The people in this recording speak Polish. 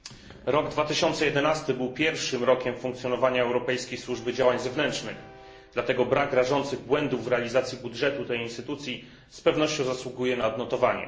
Rok 2011 był pierwszym rokiem funkcjonowania Europejskiej Służby Działań Zewnętrznych, dlatego brak rażących błędów w realizacji budżetu tej instytucji z pewnością zasługuje na odnotowanie.